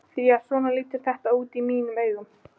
Því að svona lítur þetta út í mínum augum.